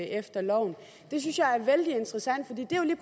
efter loven det synes jeg er vældig interessant